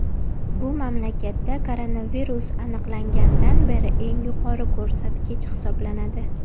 Bu mamlakatda koronavirus aniqlangandan beri eng yuqori ko‘rsatkich hisoblanadi.